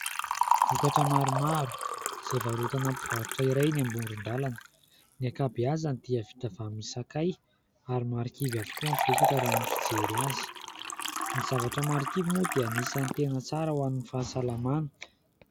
Vokatra maromaro izay varoatana mpivarotra iray eny amoron-dalana. Ny ankabehazany dia vita avy amin'ny sakay ary marikivy avokoa ny vokatra raha ny fijery azy. Ny zavatra marikivy moa dia anisan'ny tena tsara ho amin'ny fahasalamana.